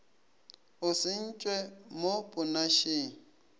o se ntšhwe mo ponašeng